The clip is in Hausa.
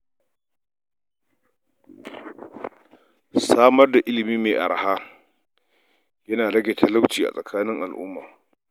Samar da ilimi mai araha yana rage talauci a tsakanin al’umma.